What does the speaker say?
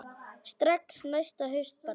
Strax næsta haust bara.